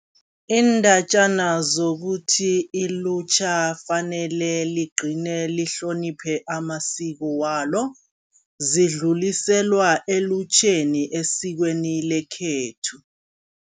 Iindatjana zokuthi ilutjha fanele ligcine lihloniphe amasiko walo, zidluliselwa elutjheni esikweni lekhethu.